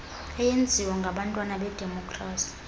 eyenziwa ngabantwana bedemokrasi